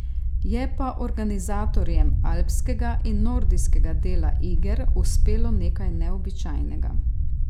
Je pa organizatorjem alpskega in nordijskega dela iger uspelo nekaj neobičajnega.